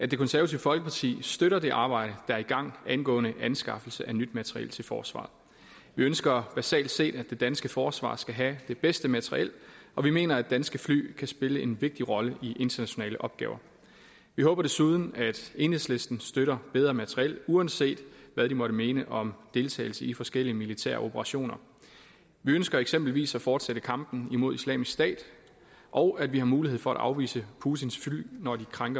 det konservative folkeparti støtter det arbejde der er i gang angående anskaffelse af nyt materiel til forsvaret vi ønsker basalt set at det danske forsvar skal have det bedste materiel og vi mener at danske fly kan spille en vigtig rolle i internationale opgaver vi håber desuden at enhedslisten støtter bedre materiel uanset hvad de måtte mene om deltagelse i forskellige militære operationer vi ønsker eksempelvis at fortsætte kampen imod islamisk stat og at vi har mulighed for at afvise putins fly når de krænker